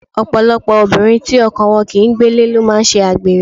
Ọ̀pọ̀lọpọ̀ obìnrin tí ọkọ wọn kì ń gbélé ló máa ń ṣe àgbèrè.